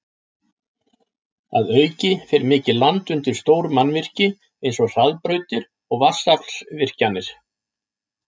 Að auki fer mikið land undir stór mannvirki eins og hraðbrautir og vatnsaflsvirkjanir.